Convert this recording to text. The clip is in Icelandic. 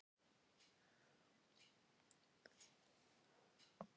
Eyjafjallajökull sést frá Hvolsvelli.